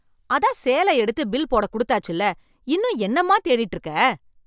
அதான் சேல எடுத்து பில் போடக் குடுத்தாச்சுல்ல, இன்னும் என்னம்மாத் தேடிட்டு இருக்க?